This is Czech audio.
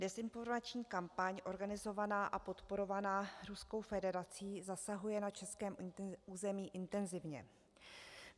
Dezinformační kampaň organizovaná a podporovaná Ruskou federací zasahuje na českém území intenzivně.